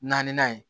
Naaninan ye